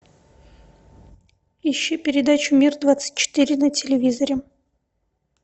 ищи передачу мир двадцать четыре на телевизоре